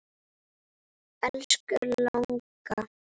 Elsku langa.